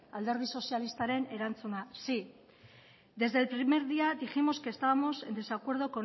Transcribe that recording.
alderdi sozialistaren erantzuna sí desde el primer día dijimos que estábamos en desacuerdo